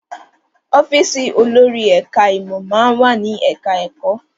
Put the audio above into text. Ọ́fíìsì olórí ẹ̀ká ìmọ̀ máa ń wà ní ẹ̀ká ẹ̀kọ́